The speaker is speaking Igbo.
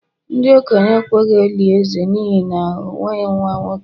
ndi-okenye ekweghi-eli eze n'ihi na o nweghi nwa-nwoke